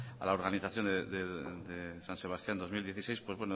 a la organización de san sebastián dos mil dieciséis pues